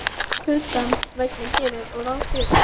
Kuldans vegna geri ég ráð fyrir.